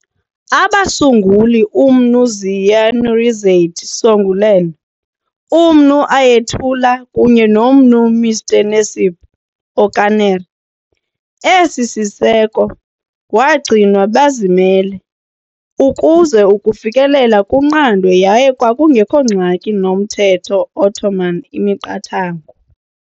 Abasunguli uMnu Ziya Nurizade Songülen, uMnu Ayetullah kunye noMnu Mr Necip Okaner. Esi siseko Wagcinwa bazimele, ukuze ukufikelela kunqandwe yaye kwakungekho ngxaki nomthetho Ottoman imiqathango.